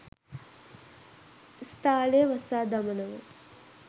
ඉස්තාලය වසා දමනවා